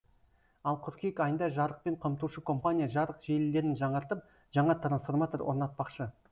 ал қыркүйек айында жарықпен қамтушы компания жарық желілерін жаңартып жаңа трансформатор орнатпақшы